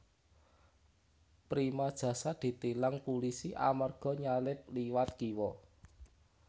Prima Jasa ditilang pulisi amarga nyalip liwat kiwo